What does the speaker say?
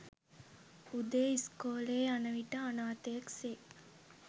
උදේ ඉස්කොලෙ යන විට අනාථයෙක් සේ